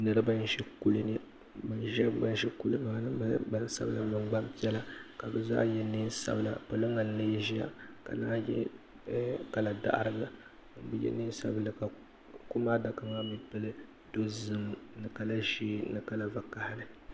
niriba n-ʒi kuli ni ban ʒi kuli maa-ni maa nyɛla gbansabila --ni gbampiɛla ka bɛ zaa ye neen' sabila poliŋga n-lee ʒia ka naan ye ɛɛh kala daɣirila o bi ye neen' sabi--la ka kum adaka maa mi pili dozim ni kala ʒee ni kala Vakahili